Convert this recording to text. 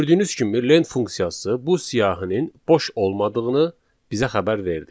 Gördüyünüz kimi lent funksiyası bu siyahının boş olmadığını bizə xəbər verdi.